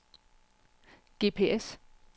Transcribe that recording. GPS